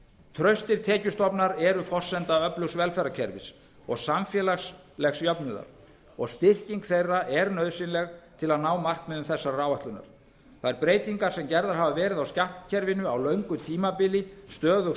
traustir tekjustofnar eru forsenda öflugs velferðarkerfis og samfélagslegs jöfnuðar og styrking þeirra er nauðsynleg til að ná markmiðum þessarar áætlunar þær breytingar sem gerðar hafa verið á skattkerfinu á löngu tímabili stöðugs